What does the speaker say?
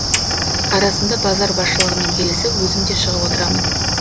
арасында базар басшылығымен келісіп өзім де шығып отырамын